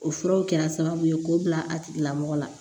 O furaw kɛra sababu ye k'o bila a tigilamɔgɔ la